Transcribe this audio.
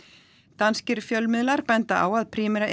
danskir fjölmiðlar benda á að Primera